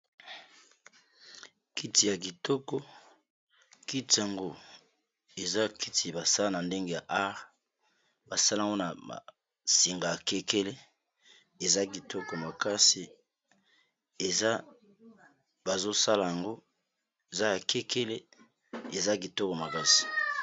Kiti ya kitoko kiti yango eza kiti basala na ndenge ya art basala yango na basinga ya kekele eza kitoko makasi eza bazosala yango eza ya kekele eza kitoko makasi